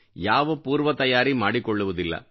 ಯಾವ ಪೂರ್ವ ತಯಾರಿ ಮಾಡಿಕೊಳ್ಳುವುದಿಲ್ಲ